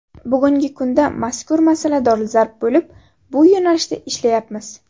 Bugungi kunda mazkur masala dolzarb bo‘lib, bu yo‘nalishda ishlayapmiz.